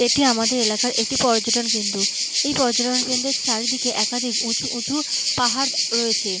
এটি আমাদের এলাকার একটি পর্যটন কেন্দ্র। এই পর্যটন কেন্দ্রর চারিদিক একাধিক উঁচু উঁচু পাহাড় রয়েছে।